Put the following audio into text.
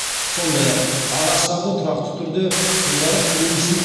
сондай ақ ағаштарды тұрақты түрде суғарып тұру үшін